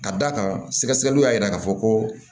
Ka d'a kan sɛgɛsɛgɛliw y'a yira k'a fɔ ko